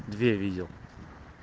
две видел